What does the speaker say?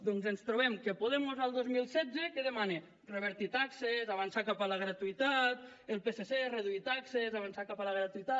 doncs ens trobem que podemos el dos mil setze què demana revertir taxes avançar cap a la gratuïtat el psc reduir taxes avançar cap a la gratuïtat